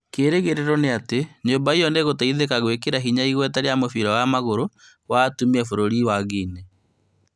Kĩrĩgĩrĩro nĩatĩ nyũmba ĩyo nĩgũteithĩka gwĩkĩra hinya igweta rĩa mũbira wa magũrũ wa atumia bũrũri-inĩ wa Guinea